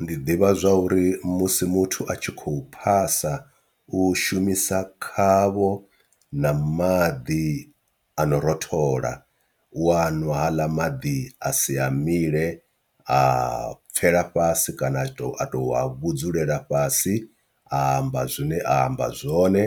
Ndi ḓivha zwa uri musi muthu a tshi khou phasa u shumisa khavho na maḓi ano rothola u wa nwa haaḽa maḓi a si a mile a pfhela fhasi kana a to a to a vhudzulela fhasi a amba zwine a amba zwone,